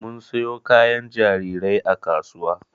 Mun siyo kayan jarirai a kasuwa